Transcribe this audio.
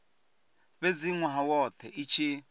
fhedza nwaha wothe i tshi